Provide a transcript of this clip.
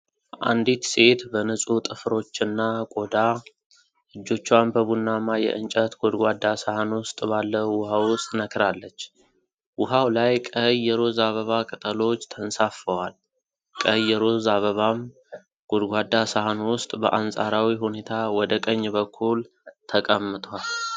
አንዲት ሴት በንጹህ ጥፍሮችና ቆዳ፣ እጆቿን በቡናማ የእንጨት ጎድጓዳ ሳህን ውስጥ ባለው ውሃ ውስጥ ነክራለች። ውሃው ላይ ቀይ የሮዝ አበባ ቅጠሎች ተንሳፍፈዋል። ቀይ የሮዝ አበባም ጎድጓዳ ሳህኑ ውስጥ በአንፃራዊ ሁኔታ ወደ ቀኝ በኩል ተቀምቷል።